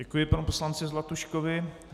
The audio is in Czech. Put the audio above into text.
Děkuji panu poslanci Zlatuškovi.